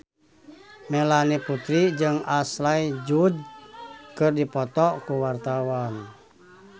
Melanie Putri jeung Ashley Judd keur dipoto ku wartawan